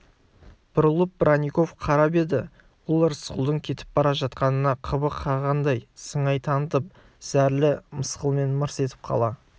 бұрылып бронников қарап еді ол рысқұлдың кетіп бара жатқанына қыбы қанғандай сыңай танытып зәрлі мысқылмен мырс етіп қала